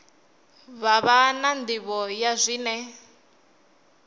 vha na nḓivho ya zwine